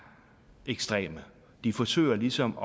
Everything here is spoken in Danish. ekstreme de forsøger ligesom